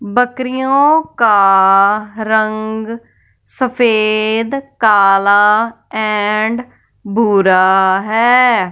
बकरियों का रंग सफेद काला एंड भूरा है।